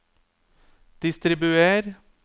distribuer